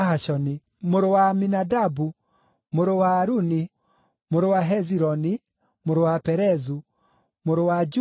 mũrũ wa Aminadabu, mũrũ wa Aruni, mũrũ wa Hezironi, mũrũ wa Perezu, mũrũ wa Juda,